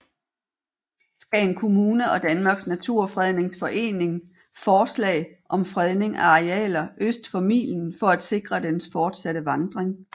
Skagen Kommune og Danmarks Naturfredningsforening forslag om fredning af arealer øst for milen for at sikre dens fortsatte vandring